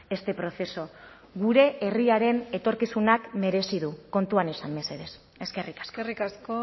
este proceso gure herriaren etorkizunak merezi du kontuan izan mesedez eskerrik asko eskerrik asko